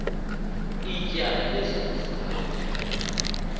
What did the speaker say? ityala lezono zam